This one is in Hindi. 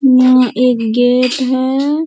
यहाँ एक गेट है ।